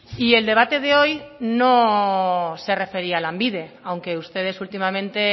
y el debate de hoy no se refería a lanbide aunque ustedes últimamente